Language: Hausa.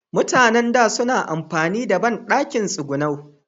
Mutan da, suna amfani da banɗakin tsigunau